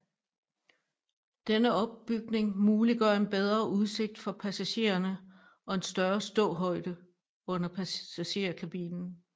Denne opbygning muliggør en bedre udsigt for passagererne og en større ståhøjde under passagerkabinen